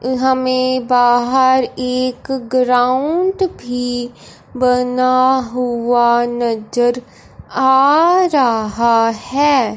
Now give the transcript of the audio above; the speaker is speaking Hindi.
हमें बाहर एक ग्राउंड भी बना हुआ नजर आ रहा है।